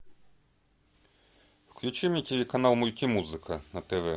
включи мне телеканал мультимузыка на тв